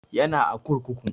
Yana a kurkuku